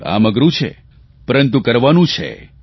કામ અઘરૂં છે પરંતુ કરવાનું છે